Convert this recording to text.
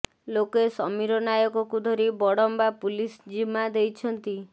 ଲୋକେ ସମିର ନାୟକକୁ ଧରି ବଡ଼ମ୍ବା ପୁଲିସ ଜିମା ଦେଇଛନ୍ତି